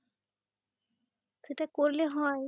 সেটা করলে হয়